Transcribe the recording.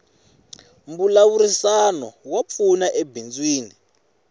mbulavurisano wa pfuna ebindzwini